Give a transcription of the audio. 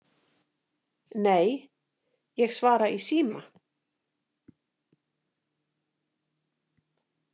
Nei, ég svara í síma